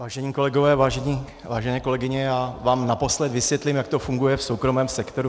Vážení kolegové, vážené kolegyně, já vám naposled vysvětlím, jak to funguje v soukromém sektoru.